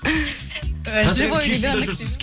живой ребенок дейді ғой